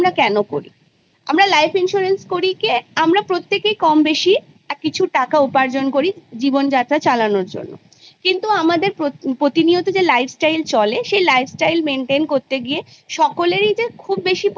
আমরা প্রত্যেকে কমবেশি কিছু টাকা উপার্জন করি জীবন চালানোর জন্য কিন্ত আমাদের প্রতিনিয়ত যে life style চলে সেই life style maintain করতে গিয়ে তাতে সকলেরই যে খুব বেশি